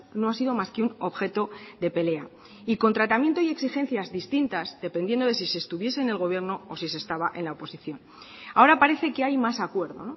no ha sido más que un objeto de pelea y con tratamiento y exigencia distintas dependiendo de si se estuviese en el gobierno o si se estaba en la oposición ahora parece que hay mas acuerdo